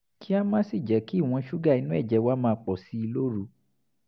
ká má sì jẹ́ kí ìwọ̀n ṣúgà inú ẹ̀jẹ̀ wa máa pọ̀ sí i lóru